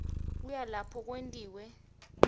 kuya lapho kwentiwe